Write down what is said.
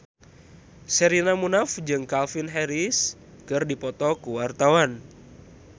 Sherina Munaf jeung Calvin Harris keur dipoto ku wartawan